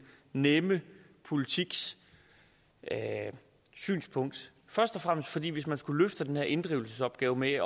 nemme politiks synspunkt først og fremmest fordi hvis man skulle løfte den her inddrivelsesopgave med